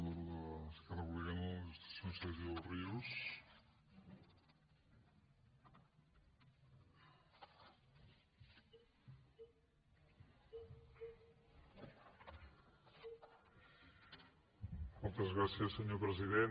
moltes gràcies senyor president